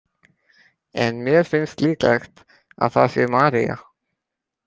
En mér finnst líklegt að það sé María.